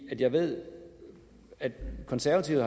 jeg ved at de konservative